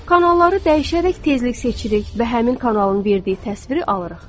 Kanalları dəyişərək tezlik seçirik və həmin kanalın verdiyi təsviri alırıq.